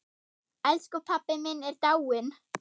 Elsku pabbi minn er dáinn!